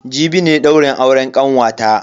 Jibi ne daurin auren kanwata.